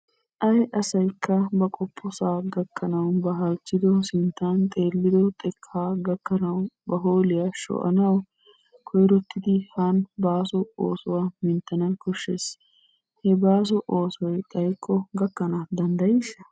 Ayi asaykka ba qoppossa gakkanawu ba halchchido sintta xeeliddo xeekka gakkanawu ba hoolliyaa shoccanawu koyrottidi haani ba basso oosuwaa minttana koshshes. He baasso oosoy xayikko gakkanna dandayishsha?